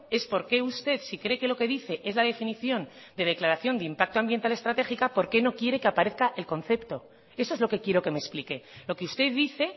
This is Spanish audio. es por qué usted si cree que lo que dice es la definición de declaración de impacto ambiental estratégica por qué no quiere que aparezca el concepto eso es lo que quiero que me explique lo que usted dice